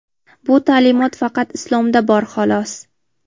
Bu ta’limot faqat Islomda bor, xolos.